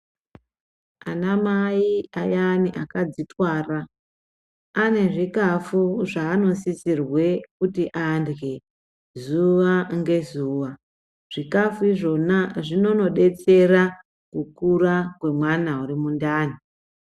Anamai ayani akadzitwara ane zvikafu zvaanosisirwe kuti arye zuva ngezuva. Zvikafu izvona zvinonobetsera kukura kwemwana uri mundani.